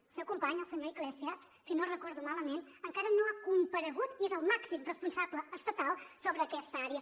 el seu company el senyor iglesias si no ho recordo malament encara no ha comparegut i és el màxim responsable estatal sobre aquesta àrea